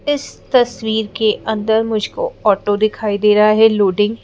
इस तस्वीर के अंदर मुझको ऑटो दिखाई दे रहा है लोडिंग --